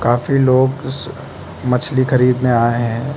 काफी लोग मछली खरीदने आए है।